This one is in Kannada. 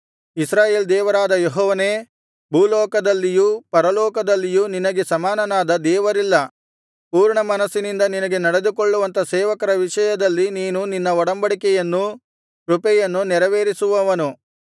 ಇಸ್ರಾಯೇಲ್ ದೇವರಾದ ಯೆಹೋವನೇ ಭೂಲೋಕದಲ್ಲಿಯೂ ಪರಲೋಕದಲ್ಲಿಯೂ ನಿನಗೆ ಸಮಾನನಾದ ದೇವರಿಲ್ಲ ಪೂರ್ಣಮನಸ್ಸಿನಿಂದ ನಿನಗೆ ನಡೆದುಕೊಳ್ಳುವಂಥ ಸೇವಕರ ವಿಷಯದಲ್ಲಿ ನೀನು ನಿನ್ನ ಒಡಂಬಡಿಕೆಯನ್ನೂ ಕೃಪೆಯನ್ನೂ ನೆರವೇರಿಸುವವನು